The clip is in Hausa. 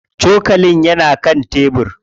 Cokalin yana kan tebir.